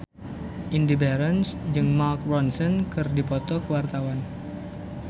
Indy Barens jeung Mark Ronson keur dipoto ku wartawan